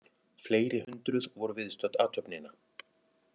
Fleiri hundruð voru viðstödd athöfnina